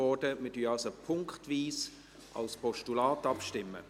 Wir stimmen somit punktweise über ein Postulat ab.